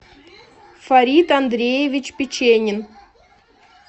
фарид андреевич печенин